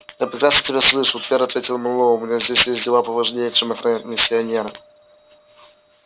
я прекрасно тебя слышу твер ответил мэллоу у меня здесь есть дела поважнее чем охранять миссионера